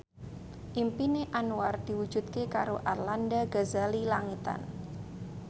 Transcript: impine Anwar diwujudke karo Arlanda Ghazali Langitan